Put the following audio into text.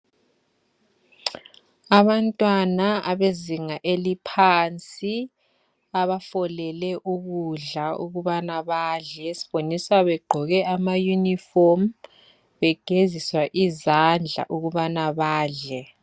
Abantwana abezinga eliphansi abafolele ukudla ukubana badle. Siboniswa begqoke amayunifomu, begeziswa izandla ukubana badle.